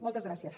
moltes gràcies